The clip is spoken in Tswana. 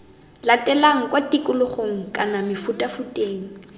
latelang kwa tikologong kana mefutafuteng